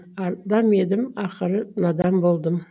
адал едім артынша арам болдым адам едім ақыры надан болдым